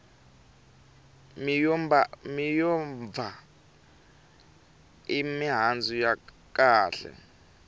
miyombva i mihandzu ya kahle